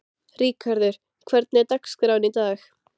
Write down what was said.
Ríkharður, hvernig er dagskráin í dag?